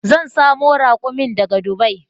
Zan samo rakumin daga dubai